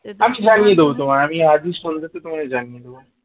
আমি আজই সন্ধাতে তোমায় জানিয়ে দেবো।